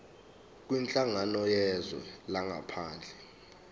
kwinhlangano yezwe langaphandle